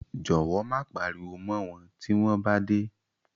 Jọ̀wọ́ má pariwo mọ́ wọn tí wọ́n bá dé.